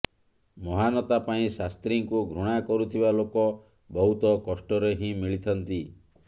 ମହାନତା ପାଇଁ ଶାସ୍ତ୍ରୀଙ୍କୁ ଘୃଣା କରୁଥିବା ଲୋକ ବହୁତ କଷ୍ଟରେ ହିଁ ମିଳିଥାନ୍ତି